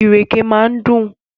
Ìrèké máa ń dùn.